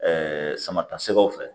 sama ta sɛgɛw fɛ